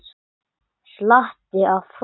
Slatti af hrósi